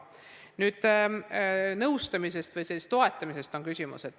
Küsimus oli nõustamise ja toetamise kohta.